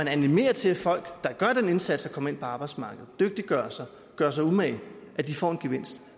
animeres til at folk der gør den indsats at komme ind på arbejdsmarkedet og dygtiggør sig og gør sig umage får en gevinst